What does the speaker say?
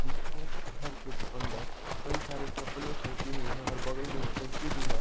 जिसके घर के अंदर कई सारे चपल्ले फेकी हुई हैं और बगल में एक खिड़की भी है।